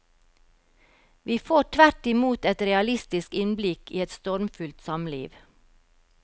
Vi får tvert imot et realistisk innblikk i et stormfullt samliv.